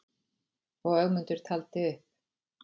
Og Ögmundur taldi upp: